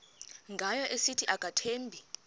ngayo esithi akamthembi